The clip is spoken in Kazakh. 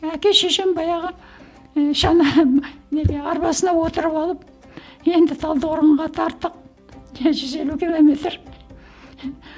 әке шешем баяғы ііі шана неге арбасына отырып алып енді талдықорғанға тарттық жүз елу километр